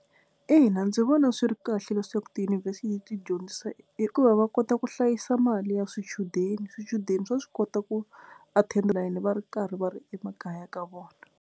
Ina ndzi vona swi ri kahle leswaku tiyunivhesiti ti dyondzisa hikuva va kota ku hlayisa mali ya swichudeni swichudeni swa swi kota ku attend va ri karhi va ri emakaya ka vona.